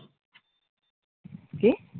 কি?